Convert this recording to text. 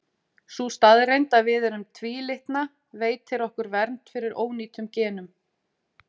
sú staðreynd að við erum tvílitna veitir okkur vernd fyrir ónýtum genum